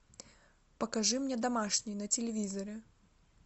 покажи мне домашний на телевизоре